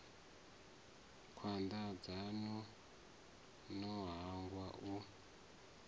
khwanda dzanu no hangwa u